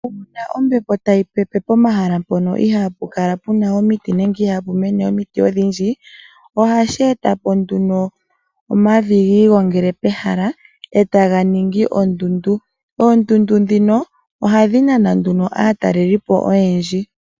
Uuna ombepo tayi pepe pomahala mpono iha pu kala pu na omiti, nenge iha pu mene omiti odhindji, ohashi e ta nduno omavi ga igongele pehala e ta ga ningi ondundu. Oondundu ndhino ohadhi nana aatalelipo oyendji.